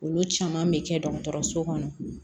Olu caman bɛ kɛ dɔgɔtɔrɔso kɔnɔ